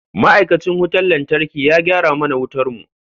Ma'aikacin wutar lantarki ya gyara mana wutar mu.